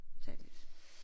Tag et nyt